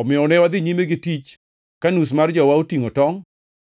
Omiyo ne wadhi nyime gi tich ka nus mar jowa otingʼo tongʼ,